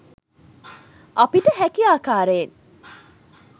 අපිට හැකි ආකාරයෙන්